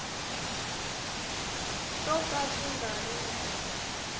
swo ka swi nga ri